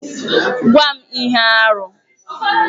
Gwa m ihe arụ!